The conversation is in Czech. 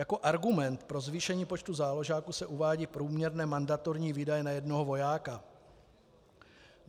Jako argument pro zvýšení počtu záložáků se uvádějí průměrné mandatorní výdaje na jednoho vojáka.